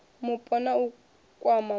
mupo na u kwama muṋe